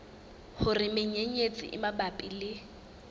hore menyenyetsi e mabapi le